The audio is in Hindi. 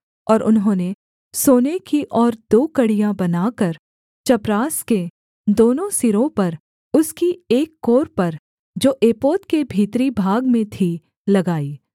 और उन्होंने सोने की और दो कड़ियाँ बनाकर चपरास के दोनों सिरों पर उसकी उस कोर पर जो एपोद के भीतरी भाग में थी लगाई